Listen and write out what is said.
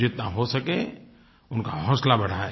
जितना हो सके उनका हौसला बढ़ायें